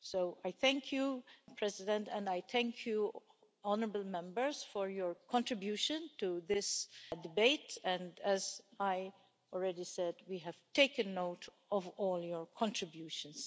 So, I thank you President and I thank you honourable Members for your contribution to this debate and, as I already said, we have taken note of all your contributions.